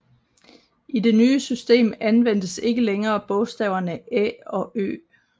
I det nye system anvendtes ikke længere bogstaverne Æ og Ø